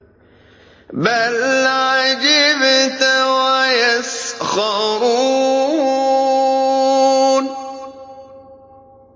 بَلْ عَجِبْتَ وَيَسْخَرُونَ